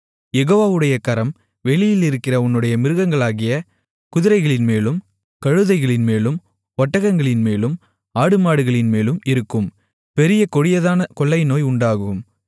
யெகோவாவுடைய கரம் வெளியில் இருக்கிற உன்னுடைய மிருகங்களாகிய குதிரைகளின்மேலும் கழுதைகளின்மேலும் ஒட்டகங்களின்மேலும் ஆடுமாடுகளின்மேலும் இருக்கும் பெரிய கொடியதான கொள்ளை நோய் உண்டாகும்